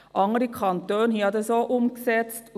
Andere Kantone haben das auch umgesetzt.